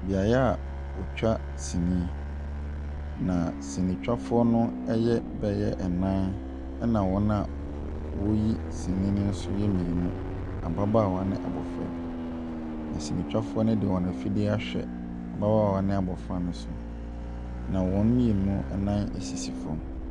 Beaeɛ a wɔtwa sini, na sinitwafoɔ ɛyɛ bɛyɛ nnan, ɛna wɔn a wɔreyi sini no yɛ mmienu, ababaawa ne abɔfra bi. Na sinitwafoɔ no ɛde wɔn afidie no ahwɛ ababaawa ne abɔfra ne so, na wɔn mmienu ɛnan asisi fam.